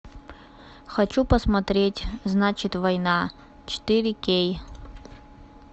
хочу посмотреть значит война четыре кей